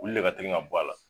U lu de ka teli ka bɔ a la